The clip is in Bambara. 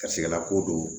Garisigɛ lako don